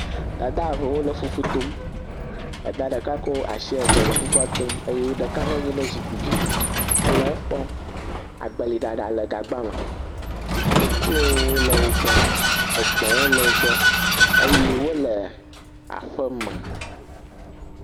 Dad eve wole fufu tom, dad ɖeka kɔ asi eve le fufua tom eye ɖeka nɔ nyi ɖe zikpui dzi, hele ekpɔm, agbeli ɖaɖa le gagba me, koklowo le wo gbɔ, egbɔ̃ le wogbɔ eye wole aƒe me eye wole aƒe me.